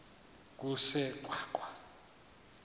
kusengwaqa